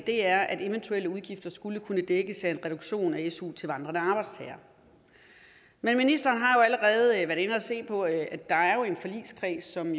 er at eventuelle udgifter skulle kunne dækkes af en reduktion af su til vandrende arbejdstagere men ministeren har allerede været inde at se på at der jo er en forligskreds som